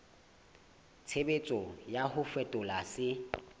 tshebetso ya ho fetola se